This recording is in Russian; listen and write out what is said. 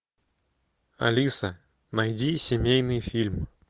алиса найди семейный фильм